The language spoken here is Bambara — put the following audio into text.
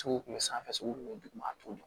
Sugu kun bɛ sanfɛ cogo min duguma a t'o dɔn